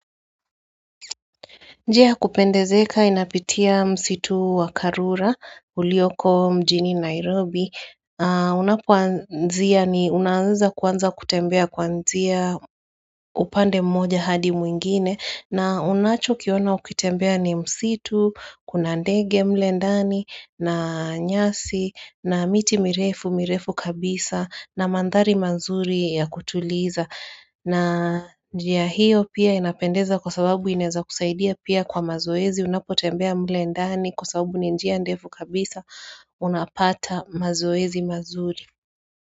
Njia ya kupendezeka inapitia msitu wa Karura, ulioko mjini Nairobi. Unapoanzia ni unaanza kuanza kutembea kwanzia upande mmoja hadi mwingine. Na unacho kiona kutembea ni msitu, kuna ndege mle ndani, na nyasi, na miti mirefu mirefu kabisa, na mandhari mazuri ya kutuliza. Na njia hiyo pia inapendeza kwa sababu ineza kusaidia pia kwa mazoezi Unapotembea mle ndani kwa sababu ninjia ndefu kabisa Unapata mazoezi mazuri.